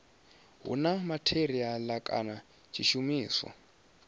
hu na matheriala kana tshishumiswa